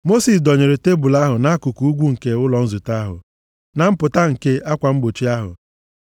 Mosis dọnyere tebul ahụ nʼakụkụ ugwu nke ụlọ nzute ahụ, na mpụta nke akwa mgbochi ahụ.